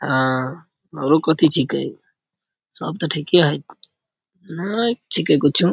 अ आरो कथि छिके सब ते ठीके है ने छिके कुछो।